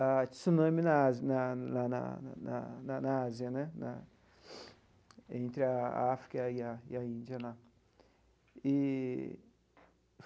a tsunami na Ásia, na na na na na na Ásia né na entre a a África e a a Índia lá eee.